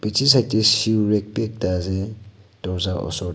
bechi side dae shoerack bhi ekta ase dowarja usor dae.